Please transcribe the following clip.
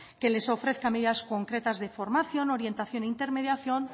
que les ofrezca medidas concretas de formación orientación e intermediación